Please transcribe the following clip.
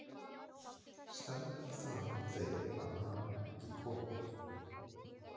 Stendur það á þeim að hafa ekki komið?